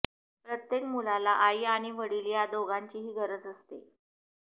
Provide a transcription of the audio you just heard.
प्रत्येक मुलाला आई आणि वडील या दोघांचीही गरज असते